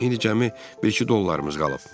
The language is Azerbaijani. İndi cəmi bir-iki dollarımız qalıb.